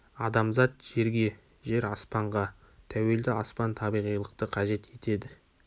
адамзат жерге жер аспанға тәуелді аспан табиғилықты қажет етеді